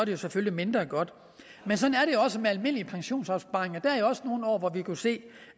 jo selvfølgelig mindre godt men sådan er det også med almindelige pensionsopsparinger der er jo også nogle år hvor vi kan se